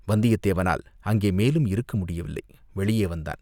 வந்தியத்தேவனால் அங்கே மேலும் இருக்க முடியவில்லை வெளியே வந்தான்.